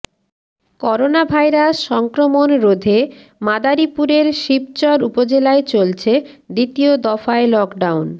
coronavirus সংক্রমণ রোধে মাদারীপুরের শিবচর উপজেলায় চলছে দ্বিতীয় দফায় লকডাউন